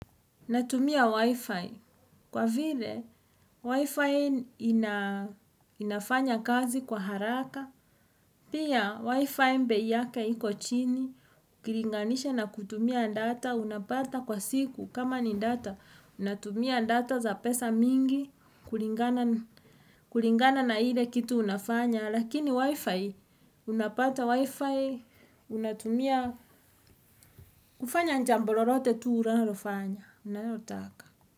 Natumia wi-fi. Kwa vile, wi-fi inafanya kazi kwa haraka. Pia wi-fi bei yake iko chini. Ukilinganisha na kutumia data. Unapata kwa siku. Kama ni data. Unatumia data za pesa mingi. Kulingana na ile kitu unafanya. Lakini wi-fi. Unapata wi-fi. Unatumia. Kufanya jambo lolote tu unalofanya. Unayotaka.